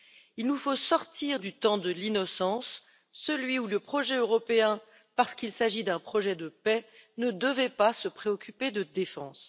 Il nous faut sortir du temps de l'innocence, celui où le projet européen, parce qu'il s'agit d'un projet de paix, ne devait pas se préoccuper de défense.